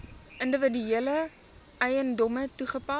individuele eiendomme toegepas